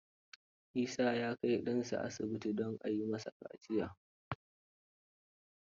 Isa ya kai ɗansa asibiti don a yi masa kaciya.